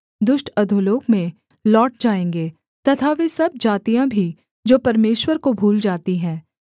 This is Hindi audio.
दुष्ट अधोलोक में लौट जाएँगे तथा वे सब जातियाँ भी जो परमेश्वर को भूल जाती है